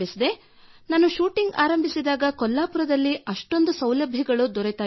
ನಾನು ಶೂಟಿಂಗ್ ಆರಂಭಿಸಿದಾಗ ಕೊಲ್ಲಾಪುರದಲ್ಲಿ ಅಷ್ಟೊಂದು ಸೌಲಭ್ಯಗಳು ದೊರೆಯುತ್ತಿರಲಿಲ್ಲ